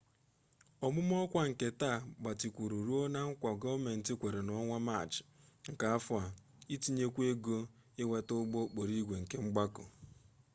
ọmụma ọkwa nke taa gbatịkwuru ruo na nkwa gọọmenti kwere n'ọnwa maachị nke afọ a itinyekwu ego inweta ụgbọ okporoigwe kemgbako